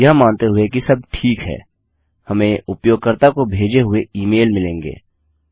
यह मानते हुए कि सब ठीक है हमें उपयोगकर्ता को भेजे हुए ई मेल मिलेंगे